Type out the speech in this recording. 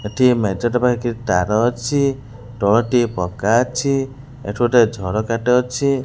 ଏଠି ମେଜେଟେ ପାଇଁ କିଛି ତାର ଅଛି ତଳଟି ପକ୍କା ଅଛି ଏଠି ଗୋଟେ ଝରକା ଟେ ଅଛି।